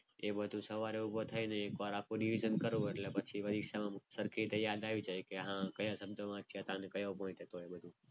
એ બધું સવારે ઊભો થઈને આખો revision કરું એટલે પછી પરીક્ષામાં સરખી રીતે યાદ આવી જાય. કે હા કયા શબ્દો વાંચ્યા હતા અને કયો પોઇન્ટ હતો.